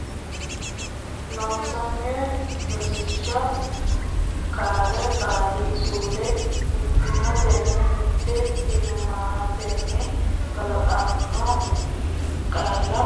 Loossinanni Rosiishsha Qaale Qaali suude mittimmatenni mit timmatenni kalaqamanno kalaq amanno massagannoha massag annoha loosiisatenna loos iisatenna Mitiimma heedhannonsa kaa habbooti Loossinanni Rosiishsha Qaale.